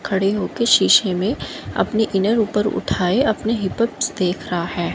खड़े होके शीशे में अपनी इनर ऊपर उठाए अपने देख रहा है।